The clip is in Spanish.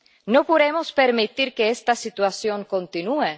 No podemos permitir que esta situación continúe.